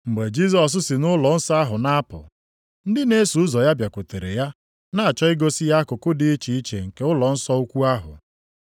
Mgbe Jisọs si nʼụlọnsọ ahụ na-apụ, ndị na-eso ụzọ ya bịakwutere ya na-achọ igosi ya akụkụ dị iche iche nke ụlọnsọ ukwu ahụ.